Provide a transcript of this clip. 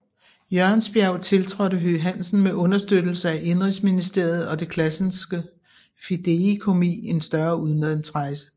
Jørgensbjerg tiltrådte Høegh Hansen med understøttelse af Indenrigsministeriet og det Classenske Fideikommis en større udlandsrejse